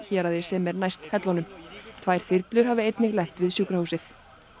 héraði sem næst er hellunum tvær þyrlur hafi einnig lent við sjúkrahúsið